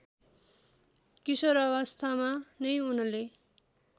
किशोरावस्थामा नै उनले